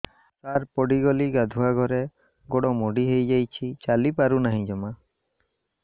ସାର ପଡ଼ିଗଲି ଗାଧୁଆଘରେ ଗୋଡ ମୋଡି ହେଇଯାଇଛି ଚାଲିପାରୁ ନାହିଁ ଜମା